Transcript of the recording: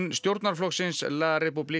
stjórnarflokksins la